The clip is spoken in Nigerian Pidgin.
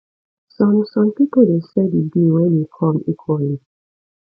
some some pipo de share di bill when in come equally